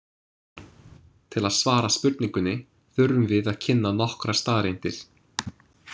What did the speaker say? Til að svara spurningunni þurfum við að kynna nokkrar staðreyndir.